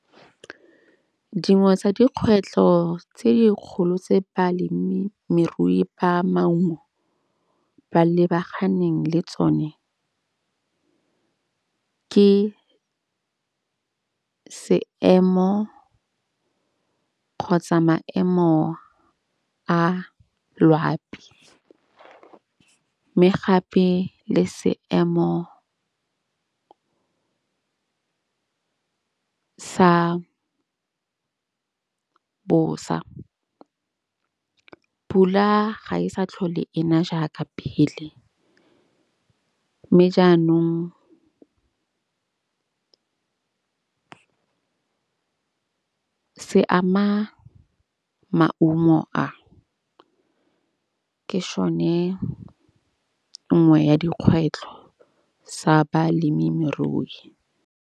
Dingwe tsa dikgwetlho tse dikgolo tse balemimerui ba maungo ba lebaganeng le tsone, ke seemo kgotsa maemo a loapi. Mme gape le seemo sa bosa. Pula ga e sa tlhole ena jaaka phele. Mme jaanong se ama maungo a. Ke šone nngwe ya dikgwetlho sa balemimerui.